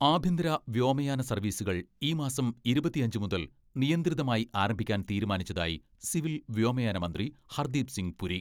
ആഭ്യന്തര വ്യോമയാന സർവ്വീസുകൾ ഈ മാസം ഇരുപത്തിയഞ്ച് മുതൽ നിയന്ത്രിതമായി ആരംഭിക്കാൻ തീരുമാനിച്ചതായി സിവിൽ വ്യോമയാന മന്ത്രി ഹർദ്ദീപ് സിങ് പുരി.